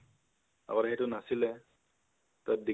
আগতে, সেইতো নাছিলে । তাত degree বোৰ